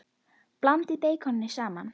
Blandið beikoni saman.